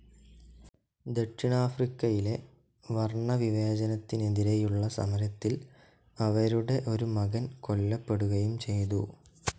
ദക്ഷിണാഫ്രിക്കയിലെ വർണ്ണവിവേചനത്തിനെതിരേയുള്ള സമരത്തിൽ അവരുടെ ഒരു മകൻ കൊല്ലപ്പെടുകയും ചെയ്തു.